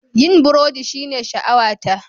Yin burodi shine sha'awata.